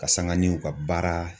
Ka sanga ni u ka baara